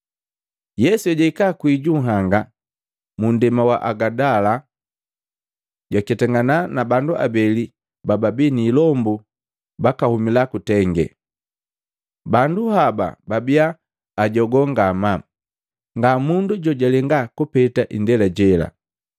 Yesu ejahika kwii ju nhanga, munndema wa Agadala, jwaketangana na bandu abeli baabii ni ilombu bakahumila kutenge. Bandu haba babiya ajogoo ngamaa, nga mundu jojalenga kupeta indela jela.